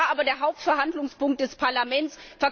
Das war aber der Hauptverhandlungspunkt des Parlaments!